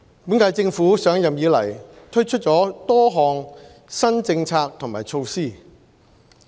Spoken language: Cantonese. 本屆政府上任以來，推出了多項新政策和措施。